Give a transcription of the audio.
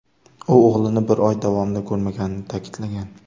U o‘g‘lini bir oy davomida ko‘rmaganini ta’kidlagan.